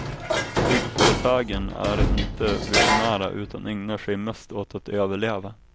Byggföretagen är inte visionära utan ägnar sig mest åt att överleva.